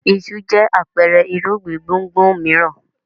Iṣu jẹ́ àpẹẹrẹ irúgbìn gbùngbùn mìíràn.